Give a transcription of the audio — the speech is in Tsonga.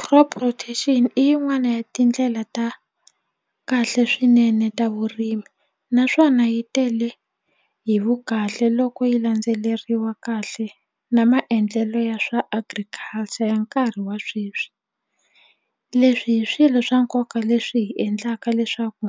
Crop rotation i yin'wani ya tindlela ta kahle swinene ta vurimi naswona yi tele hi vu kahle loko yi landzeleriwa kahle na maendlelo ya swa agriculture ya nkarhi wa sweswi leswi hi swilo swa nkoka leswi hi endlaka leswaku